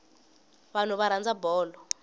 vanhu va rhandza bolo